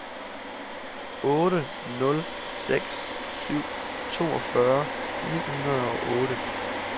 otte nul seks syv toogfyrre ni hundrede og otte